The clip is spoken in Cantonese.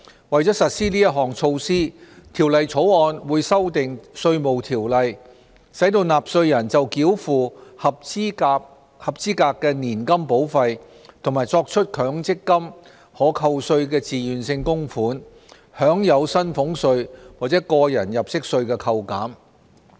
為實施此項措施，《條例草案》會修訂《稅務條例》，使納稅人就繳付合資格年金保費和作出強積金可扣稅自願性供款，享有薪俸稅或個人入息稅扣減。